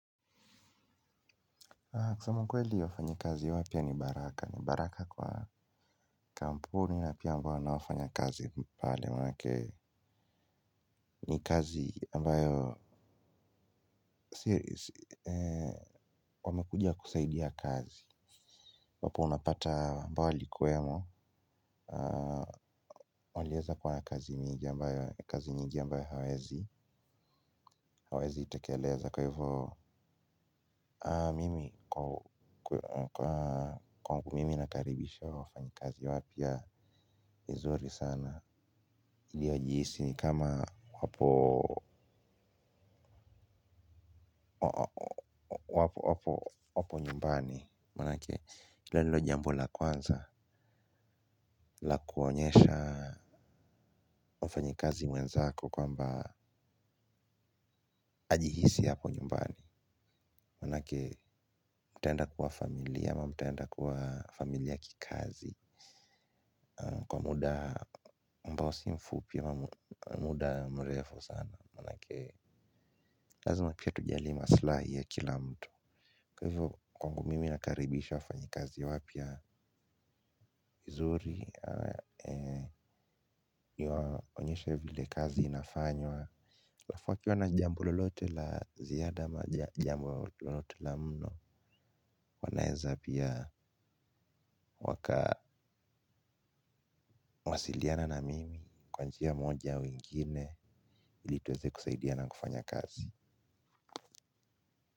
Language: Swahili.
Kusema kweli wafanyakazi wapya ni baraka, ni baraka kwa kampuni na pia ambao wanaofanya kazi pale kwa upande wake ni kazi ambayo, wamekuja kusaidia kazi wapo unapata ambayo walikuemo. Walieza kwa kazi nyingi ambayo kazi nyingi ambayo hawezi itekeleza kwa hivyo mimi kwangu mimi nakaribisha wafanyakazi wapya ni zuri sana. Iliojihisi ni kama wapo, wapo nyumbani maana yake hilo ndilo jambo la kwanza la kuonyesha wafanyakazi wenzako kwamba ajihisi hapo nyumbani manake mtaenda kuwa familia ama mtaenda kuwa familia kikazi kwa muda ambao si mfupi pia muda mrefu sana maana yake lazima pia tujali maslahi ya kila mtu kwa hivyo kwangu mimi nakaribisha wafanyakazi wapya vizuri. Yaonyeshe vile kazi inafanywa alafu wakiwa na jambo lolote la ziada jambo lolote la mno wanaeza pia wakawasiliana na mimi kwa njia moja au nyingine ili tuweze kusaidia na kufanya kazi.